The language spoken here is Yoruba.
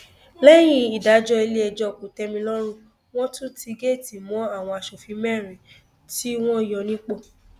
lẹyìn ìdájọ iléẹjọ kòtẹmílọrùn wọn tún ti géètì mọ àwọn aṣòfin mẹrin tí wọn yọ nípò